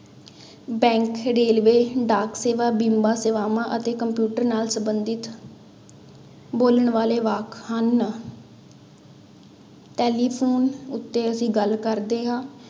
Bank railway, ਡਾਕਸੇਵਾ, ਬੀਮਾ ਸੇਵਾਵਾਂ ਅਤੇ ਕੰਪਿਊਟਰ ਨਾਲ ਸੰਬੰਧਿਤ ਬੋਲਣ ਵਾਲੇ ਵਾਕ ਹਨ ਟੈਲੀਫ਼ੋਨ ਉੱਤੇ ਅਸੀਂ ਗੱਲ ਕਰਦੇ ਹਾਂ।